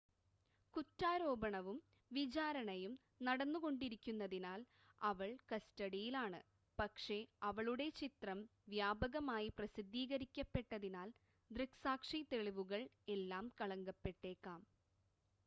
കുറ്റാരോപണവും വിചാരണയും നടന്നുകൊണ്ടിരിക്കുന്നതിനാൽ അവൾ കസ്റ്റഡിയിൽ ആണ് പക്ഷേ അവളുടെ ചിത്രം വ്യാപകമായി പ്രസിദ്ധീകരിക്കപ്പെട്ടതിനാൽ ദൃക്‌സാക്ഷി തെളിവുകൾ എല്ലാം കളങ്കപ്പെട്ടേക്കാം